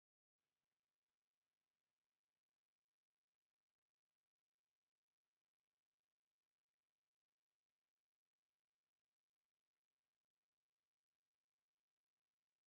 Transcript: ኣርማ፡- ናይ ሓደ ተቋም ዕላማ፣ ስራሕን ኣገልግሎትን ዝዛረብ ናይ ምልክትን ኣህፅሮተ ቃላት ስብስብ እዩ፡፡ ናይ ሕብረት ኣፍሪቃ ኣርማ ዶ ትፈልጥዋ?